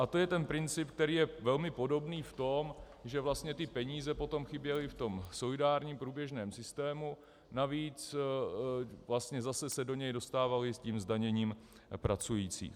A to je ten princip, který je velmi podobný v tom, že vlastně ty peníze potom chyběly v tom solidárním průběžném systému, navíc vlastně se zase do něj dostávaly s tím zdaněním pracujících.